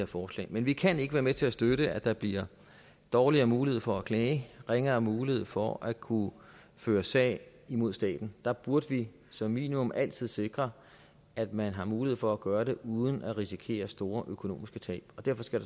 fornuftigt men vi kan ikke være med til at støtte at der bliver dårligere mulighed for at klage ringere mulighed for at kunne føre sag imod staten der burde vi som minimum altid sikre at man har mulighed for at gøre det uden at risikere store økonomiske tab og derfor skal